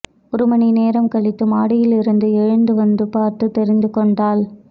ஒரு மணி நேரம் கழித்து மாடியிலிருந்து எழுந்து வந்து பார்த்துத் தெரிந்து கொண்டாள்